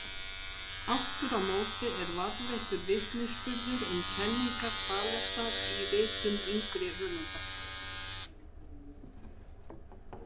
Aftur á móti er varðveittur vitnisburður um kenningar Þalesar í ritum yngri höfunda.